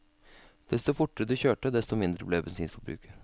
Desto fortere du kjørte, desto mindre ble bensinforbruket.